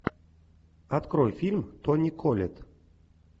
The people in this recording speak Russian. открой фильм тони коллетт